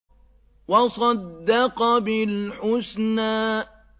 وَصَدَّقَ بِالْحُسْنَىٰ